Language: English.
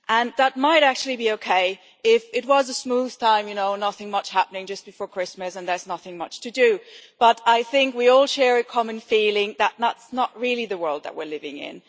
That might actually be OK if it were a smooth time, with nothing much happening just before Christmas and if there were nothing much to do, but I think we all share a common feeling that is not really the world that we are living in.